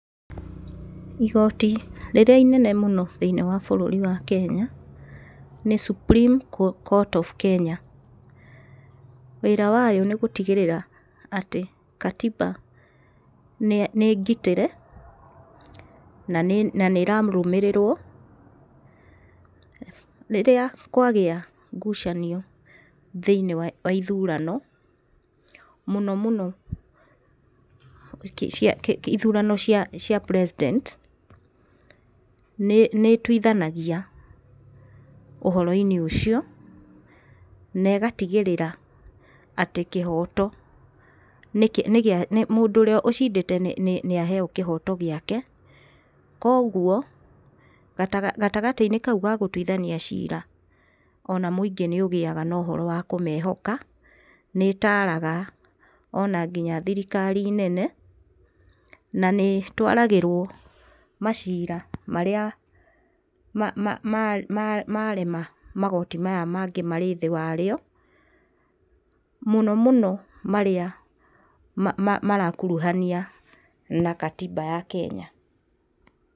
Igoti rĩrĩa inene mũno thĩiniĩ wa bũrũri wa Kenya, nĩ Supreme Court of Kenya, wĩra wayo nĩ gũtigĩrĩra atĩ katiba nĩ ngitĩre, na nĩ na nĩ ĩrarũmĩrĩrwo, rĩrĩa kwagĩa ngucanio thĩinĩ wa ithurano, mũno mũno ithurano cia cia president nĩ ĩtuithanagia ũhoroinĩ ũcio, na ĩgatigĩrĩra atĩ kĩhoto nĩkĩ nĩgĩa mũndũ ũrĩa ũcindĩte nĩ nĩaheo kĩhoto gĩake. koguo, gatagatĩ-inĩ kau ga gũtuithania cira, ona mũingĩ nĩũgĩaga na ũhoro wa kũmehoka, nĩitaraga ona nginya thirikari nene, na nĩitwaragĩrwo macira marĩa ma ma marema magoti maya mangĩ marĩ thĩ wario, mũno mũno marĩa ma ma marakuruhania na gatiba ya Kenya.